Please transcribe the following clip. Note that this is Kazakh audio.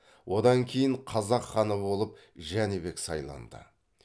одан кейін қазақ ханы болып жәнібек сайланды